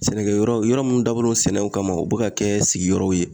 Sɛnɛkɛyɔrɔ yɔrɔ mun dabɔlen don sɛnɛw kama u bɛ ka kɛ sigiyɔrɔw ye